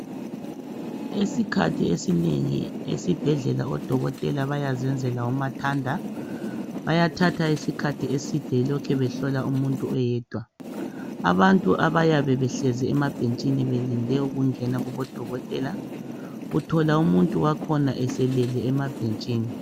Isikhathi esinengi esibhedlela odokotela bayazenzela uyathanda ngobabayatha isikhathi eside belokhu behlola umuntu oyedwa. Abantu abayabe behlezi emabhentshini belinde ukungena kubodokotela .Uthola umuntu wakhona eselele emabhentshini.